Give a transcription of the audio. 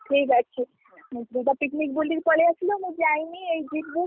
ଠିକ ଅଛି, ତୁ ତ picnic ବୁଲିକି ପଳେଇଆସିଲୁ ମୁଁ ଯାଇନି ଏଇ ଯିବୁ।